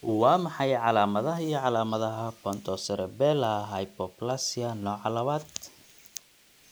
Waa maxay calaamadaha iyo calaamadaha Pontocerebellar hypoplasia nooca labaad?